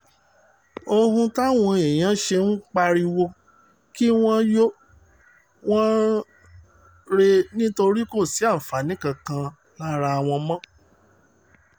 ohun táwọn èèyàn ṣe ń pariwo kí wọ́n yọ wọ́n rèé nítorí kò sí àǹfààní kankan lára wọn mọ́